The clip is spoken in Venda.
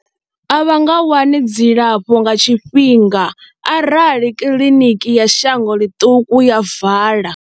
A vha nga wani dzilafho nga tshifhinga arali kiḽiniki ya shango ḽiṱuku ya vala.